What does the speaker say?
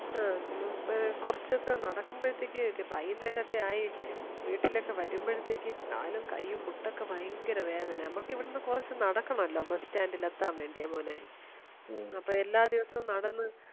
ആ മ്മ് കുറച്ചൊക്കെ നടക്കുമ്പോഴത്തേക്ക് വൈകുന്നേരം ഒക്കെ ആയി വീട്ടിലൊക്കെ വരുമ്പോഴത്തേക്ക് കാലും കയ്യും മുട്ടൊക്കെ ഭയങ്കര വേദന നമ്മക്ക് ഇവ്ട്ന്ന് കുറച്ചൊക്കെ നടക്കണമല്ലോ ബസ്റ്റാൻഡിലെത്താൻ വേണ്ടിമോനെ എല്ലാദിവസവും നടന്നു